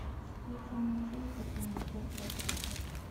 встреча манчестер и манчестер сити